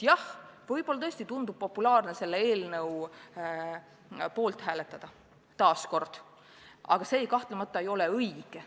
Jah, võib-olla tõesti tundub populaarne taas selle seaduse poolt hääletada, aga see kahtlemata ei ole õige.